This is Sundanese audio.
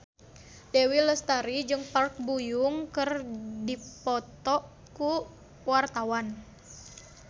Dewi Lestari jeung Park Bo Yung keur dipoto ku wartawan